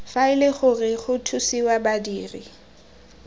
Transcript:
faele gore go thusiwe badiri